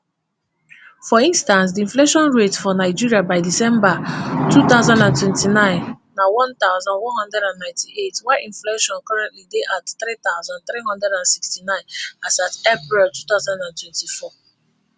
for instance di inflation rate for nigeria by december two thousand and nineteen na one thousand, one hundred and ninety-eight while inflation currently dey at three thousand, three hundred and sixty-nine as at april two thousand and twenty-four